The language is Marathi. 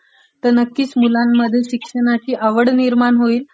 मुलांमध्ये शिक्षणाची आवडं निर्णाण होईल